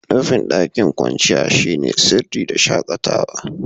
Nufin daƙin kwanciyar shine sirri da shakatawa.